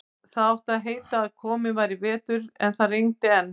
Það átti að heita að kominn væri vetur, en það rigndi enn.